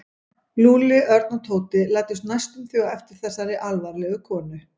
Lúlli, Örn og Tóti læddust næstum því á eftir þessari alvarlegu konu.